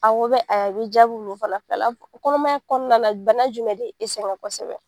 Awɔ bɛ be jaabi mun bɔ fana fɛla kɔnɔmaya kɔɔna na bana jumɛn de e sɛŋɛn kɔsɛbɛ?